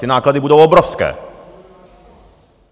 Ty náklady budou obrovské!